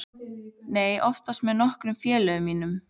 Nei, oftast með nokkrum félögum mínum.